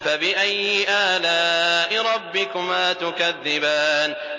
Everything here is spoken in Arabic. فَبِأَيِّ آلَاءِ رَبِّكُمَا تُكَذِّبَانِ